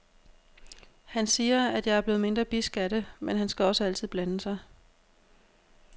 Han siger, at jeg er blevet mindre bidsk af det, men han skal også altid blande sig.